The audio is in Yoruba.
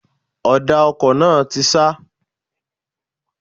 Ọ̀dà ọkọ̀ náà ti ṣá.